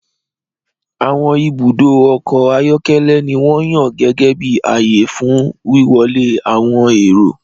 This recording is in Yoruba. Àwọn ibùdó ọkọ̀ ayọ́kẹ́lẹ́ ni wọ́n yàn gẹ́gẹ́ bí ààyè fún wíwọlé àwọn èrò.